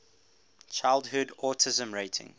childhood autism rating